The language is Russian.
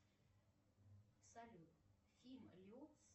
салют фильм лед